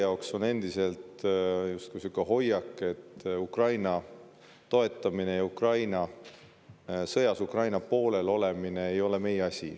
Teil on endiselt justkui selline hoiak, et Ukraina toetamine ja Ukraina sõjas Ukraina poolel olemine ei ole meie asi.